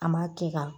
An ma tɛ ka